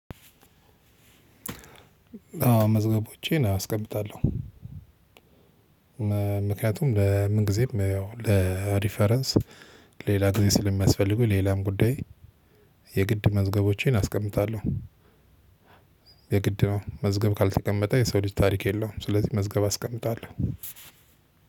አዎ መዝገቦቼን አስቀምጣለሁ። ምክንያቱም ለምንጊዜም ያው ለሪፈረንስ ሌላ ጊዜ ስለሚያስፈልጉኝ ሌላም ጉዳይ። የግድ መዝገቦቼን አስቀምጣለሁ። የግድ መዝገብ ካልተቀመጠ የሰው ልጅ ታሪክ የለውም። ስለዚህ መዝገብ አስቀምጣለሁ።